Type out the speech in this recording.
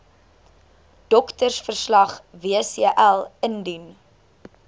doktersverslag wcl indien